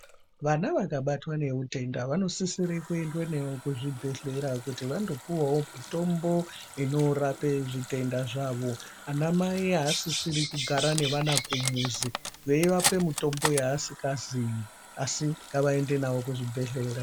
Vana vakabatwa neutenda vanosisire kuenda kuzvibhedhlera kuti vando piwawawo mitombo ino rape zvitenda zvavo ana mai havasisi kugara navo kumuzi veivapa zvitenda yavasingaziyi asi ngavaende navo kuzvibhedhlera.